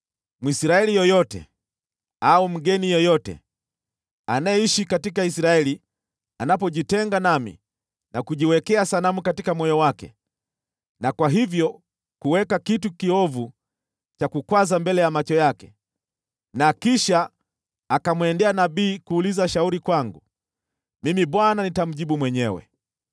“ ‘Mwisraeli yeyote au mgeni yeyote anayeishi katika Israeli anapojitenga nami na kujiwekea sanamu katika moyo wake na kwa hivyo kuweka kitu kiovu cha kukwaza mbele ya macho yake na kisha akamwendea nabii kuuliza shauri kwangu, mimi Bwana nitamjibu mwenyewe.